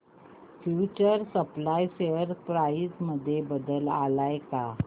future supply share price मध्ये बदल आलाय का